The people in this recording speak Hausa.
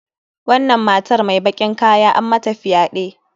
Wannan matar mai bakin kaya an mata fyaɗe.